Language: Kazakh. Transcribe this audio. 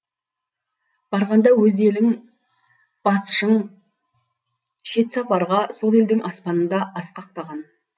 барғанда өз ел басшың шет сапарға сол елдің аспанында асқақтаған